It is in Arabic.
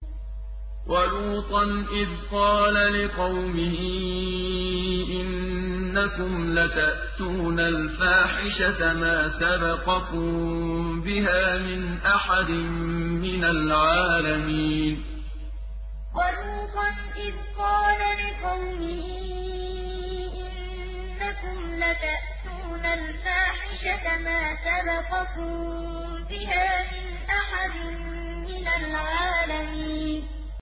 وَلُوطًا إِذْ قَالَ لِقَوْمِهِ إِنَّكُمْ لَتَأْتُونَ الْفَاحِشَةَ مَا سَبَقَكُم بِهَا مِنْ أَحَدٍ مِّنَ الْعَالَمِينَ وَلُوطًا إِذْ قَالَ لِقَوْمِهِ إِنَّكُمْ لَتَأْتُونَ الْفَاحِشَةَ مَا سَبَقَكُم بِهَا مِنْ أَحَدٍ مِّنَ الْعَالَمِينَ